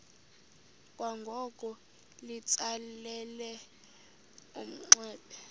kwangoko litsalele umnxeba